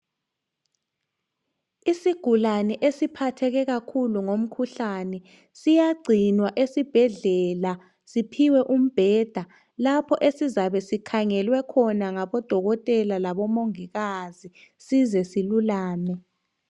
Isigulane esiphatheke kakhulu ngomkhuhlane siyagcinwa esibhedlela, siphiwe umbheda, lapho esizabe sikhangelwe khona ngabodokotela labomongikazi size silulame.